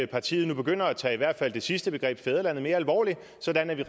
partiet nu begynder at tage i hvert fald det sidste begreb fædrelandet mere alvorligt sådan at vi